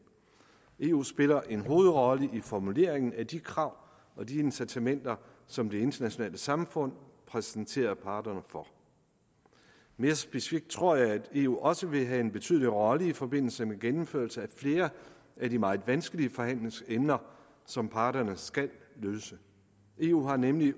eu spiller en hovedrolle i formuleringen af de krav og de incitamenter som det internationale samfund præsenterer parterne for mere specifikt tror jeg at eu også vil have en betydelig rolle i forbindelse med gennemførelse af flere af de meget vanskelige forhandlingsemner som parterne eu har nemlig